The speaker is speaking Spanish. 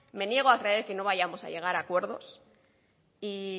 me niego a creer que no vayamos a llegar a acuerdos y